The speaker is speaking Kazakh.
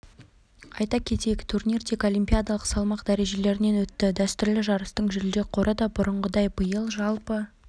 айта кетейік турнир тек олимпиадалық салмақ дәрежелерінен өтті дәстүрлі жарыстың жүлде қоры да бұрынғыдай биыл жалпы